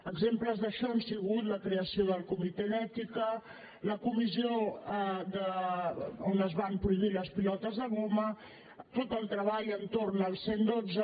exemples d’això han sigut la creació del comitè d’ètica la comissió on es van prohibir les pilotes de goma tot el treball entorn al cent i dotze